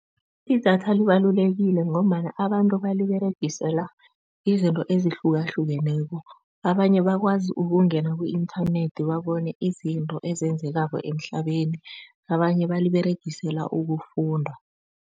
Idatha libalulekile ngombana abantu baliberegisela izinto ezihlukahlukeneko, abanye bakwazi ukungena ku-inthanethi babone izinto ezenzekako emhlabeni abanye baliberegisela ukufunda.